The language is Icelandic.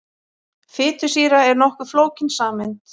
Fitusýra er nokkuð flókin sameind.